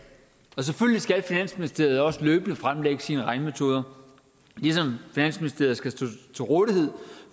og selvfølgelig skal finansministeriet også løbende fremlægge sine regnemetoder ligesom finansministeriet skal stå til rådighed